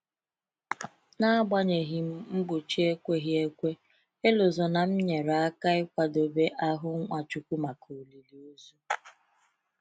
N’agbanyeghị mgbochi ekweghi ekwe, Elozonam nyere aka ịkwadebe ahụ Nwachukwu maka olili ozu.